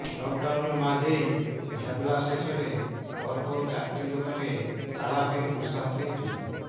লকডাউনের মাঝেই ভ্যাবলা স্টেশনে পরপর চারটি দোকানে তালা ভেঙে দুঃসাহসিক চুরি